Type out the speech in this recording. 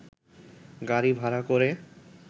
গাড়ি ভাড়া করে